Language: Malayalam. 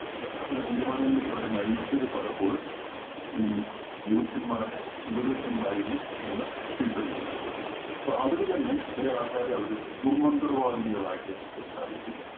അത്തരം തീരുമാനങ്ങളിലേക്ക് അവരെ നയിച്ചത് പലപ്പോഴും ഈ ജ്യോത്സ്യന്മാരുടെ ഉപദേശങ്ങളായിരുന്നു എന്ന് തിരിച്ചറിഞ്ഞിട്ടുണ്ട്. അപ്പോ അവര് തന്നെ ചെല ആള്‍ക്കാരെ അവര് ദുര്‍മന്ത്രവാദിനികളായിട്ട് പ്രഖ്യാപിച്ചു.